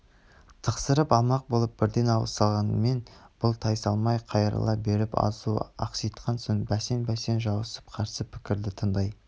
тықсырып алмақ болып бірден ауыз салғанмен бұл тайсалмай қайрыла беріп азу ақситқан соң бәсең-бәсең жуасып қарсы пікірді тыңдай